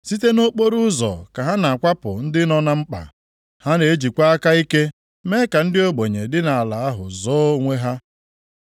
Site nʼokporoụzọ ka ha na-akwapụ ndị nọ na mkpa. Ha na-ejikwa aka ike mee ka ndị ogbenye dị nʼala ahụ zoo onwe ha.